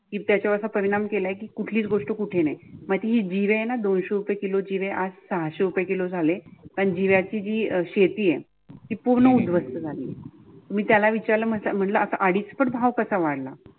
त्याचा परिणाम केला की कुठली गोष्ट कुठेनाही मग ती जिरे आहे न दोनशे रुपये किलोची वेळ आज सहाशे रुपये किलो झाले. पण जिरे जी शेती आहे ते पूर्ण उद्ध्वस्त झाली. मी त्याला विचारलं म्हणल आता अडीचपट भाव कसा वाढला?